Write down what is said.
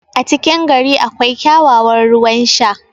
a cikin gari akwai kyakkyawan ruwan Sha